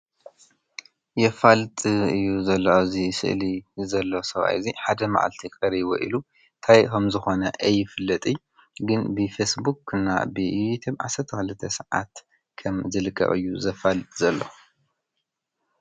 የፋልጥ እዩ ዘሎ አብዚ ስእሊ ዘሎ ሰብኣይ ሓደ ምዓልቲ ቀርይዎ እንታይ ከምዝኾነ ኣይፍለጥን::ግን ብፌስቦክ እና ብዩቱብ ዓሰርተ ክልተ ስዓት ከምዝልቀቕ እዩ ዘፋልጥ ዘሎ።